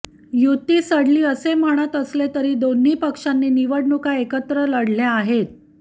युती सडली असे म्हणत असले तरी दोन्ही पक्षांनी निवडणुका एकत्र लढल्या आहेत